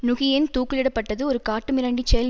நுகியேன் தூக்கிலிடப்பட்டது ஒரு காட்டு மிராண்டிச் செயல்